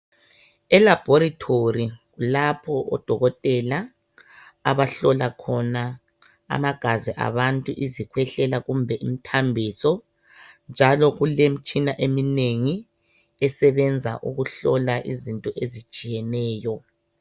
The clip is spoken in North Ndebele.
Elabhorethori kulapho odokotela abahlola khona amagazi abantu izikhwehlela kumbe imthambiso njalo kulemitshina eminengi esebenza ukuhlola izinto ezitshiyeneyo.